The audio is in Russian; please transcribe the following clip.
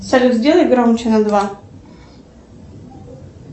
салют сделай громче на два